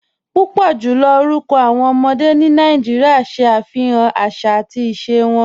Púpọ̀ jùlọ̀ orúkọ̀ awọn ọmọdé ni Nàìjíríà ṣẹ afihàn àṣà àti ìṣẹ̀ wọn